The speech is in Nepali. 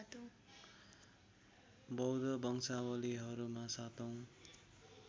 बौद्ध वंशावललीहरूमा सातौं